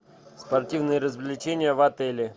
спортивные развлечения в отеле